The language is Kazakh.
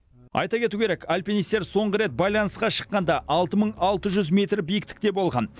айта кету керек альпинистер соңғы рет байланысқа шыққанда алты мың бес жүз метр биіктікте болған